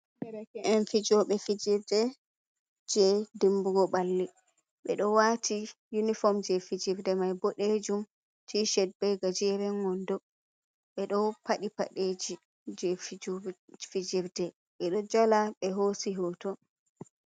Derke'en fijooɓe fijirde jey dimbugo balli, ɓe ɗo waati yunifom jey fijirde mai boɗeejum tiishet bee gajeeren wonndo ɓe ɗo paɗi padeji jey fijirde ɓe ɗo jala ɓe hoosi hooto.